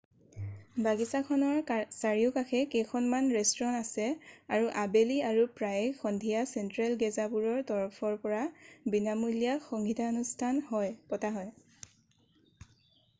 বাগিছাখনৰ চাৰিওকাষে কেইখনমান ৰেষ্টুৰাঁ আছে আৰু আবেলি আৰু প্ৰায়েই সন্ধিয়া চেণ্ট্ৰেল গেজাবোৰ তৰফৰ পৰা বিনামূলীয়া সংগীতানুষ্ঠান হয় পতা হয়